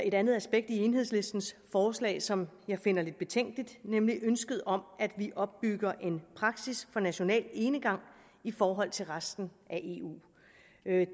et andet aspekt i enhedslistens forslag som jeg finder lidt betænkeligt nemlig ønsket om at vi opbygger en praksis for national enegang i forhold til resten af eu